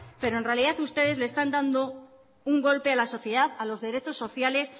pero en realidad ustedes le están dando un golpe a la sociedad a los derechos sociales